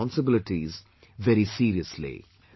their responsibilities very seriously